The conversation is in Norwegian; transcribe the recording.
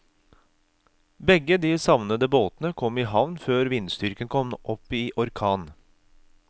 Begge de savnede båtene kom i havn før vindstyrken kom opp i orkan.